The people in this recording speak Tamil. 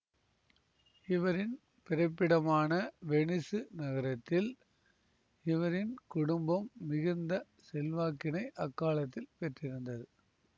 இவரின் பிறப்பிடமான வெனிசு நகரத்தில் இவரின் குடும்பம் மிகுந்த செல்வாக்கினை அக்காலத்தில் பெற்றிருந்தது